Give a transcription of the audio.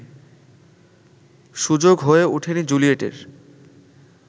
সুযোগ হয়ে ওঠেনি জুলিয়েটের